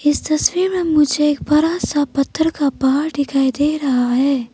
इस तस्वीर में मुझे एक बड़ा सा पत्थर का पहाड़ दिखाई दे रहा है।